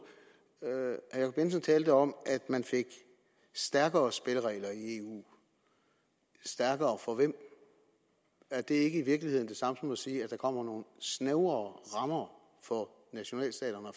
herre jensen talte om at man fik stærkere spilleregler i eu stærkere for hvem er det ikke i virkeligheden det samme som at sige at der kommer nogle snævrere rammer for nationalstaterne